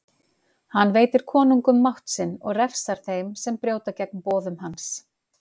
Hann veitir konungum mátt sinn og refsar þeim sem brjóta gegn boðum hans.